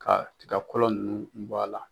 Ka tigakɔlɔ nunnu bɔ a la.